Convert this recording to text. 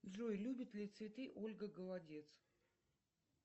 джой любит ли цветы ольга голодец